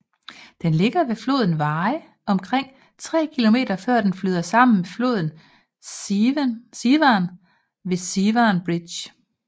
Den ligger ved floden Wye omkring 3 km før dne flyder sammen med floden Severn ved Severn Bridge